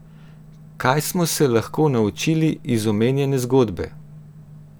Kaj smo se lahko naučili iz omenjene zgodbe?